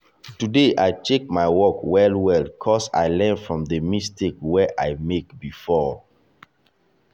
today i check my work well well ‘cause i learn from the mistake wey i make before.